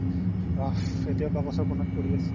এতিয়া বাকচৰ কুনাত পৰি আছে